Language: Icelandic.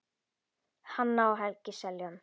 Hanna og Helgi Seljan.